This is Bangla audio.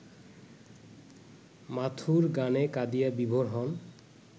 মাথুর গানে কাঁদিয়া বিভোর হন